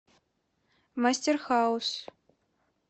мастер хаус